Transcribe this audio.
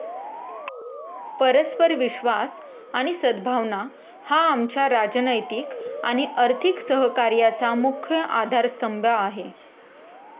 परस्पर विश्वास आणि सद्भावना हा आमच्या राजनैतिक आणि आर्थिक सहकार्याचा मुख्य आधारस्तंभ आहे.